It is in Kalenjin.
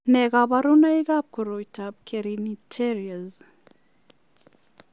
Nee kabarunoikab koroitoab Kernicterus?